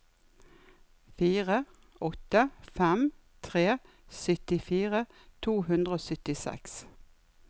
fire åtte fem tre syttifire to hundre og syttiseks